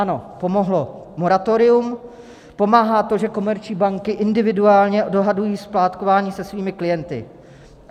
Ano, pomohlo moratorium, pomáhá to, že komerční banky individuálně dohadují splátkování se svými klienty.